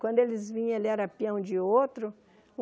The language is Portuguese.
Quando eles vinham, ele era peão de outro.